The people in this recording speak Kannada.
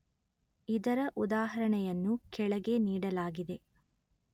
ಇದರ ಉದಾಹರಣೆಯನ್ನು ಕೆಳಗೆ ನೀಡಲಾಗಿದೆ